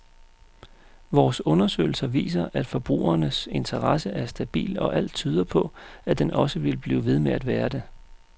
Vores undersøgelser viser, at forbrugernes interesse er stabil og alt tyder på, at den også vil blive ved med at være det.